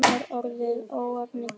Er orðið ógnanir til?